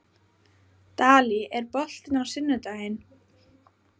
Dalí, er bolti á sunnudaginn?